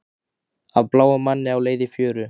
Af bláum manni á leið í fjöru